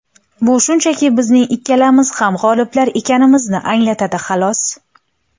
Bu shunchaki bizning ikkalamiz ham g‘oliblar ekanimizni anglatadi, xolos.